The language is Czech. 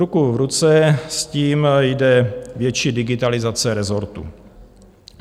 Ruku v ruce s tím jde větší digitalizace rezortu.